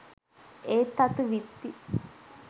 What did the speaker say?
ඒ තතු විත්ති.